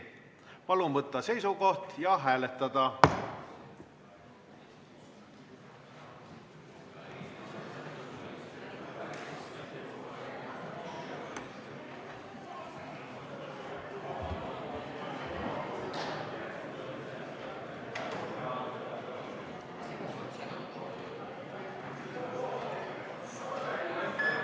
Palun võtta seisukoht ja hääletada!